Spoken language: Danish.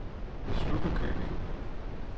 Stubbekøbing